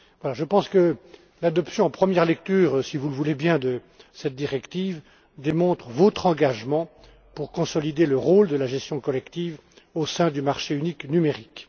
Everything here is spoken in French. Je pense que l'adoption en première lecture, si vous le voulez bien, de cette directive, démontre votre engagement à consolider le rôle de la gestion collective au sein du marché unique numérique.